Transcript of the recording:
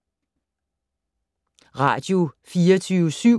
Radio24syv